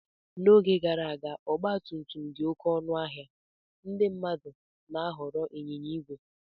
n’oge gara aga, mgbe ọgba tum tum dị oké ọnụ ahịa, ndị mmadụ na-ahọrọ ịnyịnya ígwè